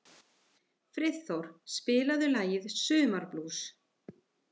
Friðþór, spilaðu lagið „Sumarblús“.